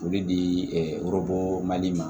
O bɛ di ɛ yɔrɔbɔ mali ma